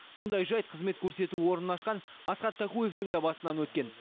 мұндай жайт қызмет көрсету орнын ашқан асхат такуевтің де басынан өткен